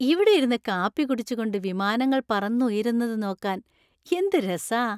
ഇവിടെ ഇരുന്ന് കാപ്പി കുടിച്ചുകൊണ്ട് വിമാനങ്ങൾ പറന്നുയരുന്നത് നോക്കാൻ എന്ത് രസാ.